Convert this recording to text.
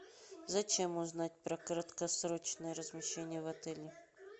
зачем узнать про краткосрочное размещение в отеле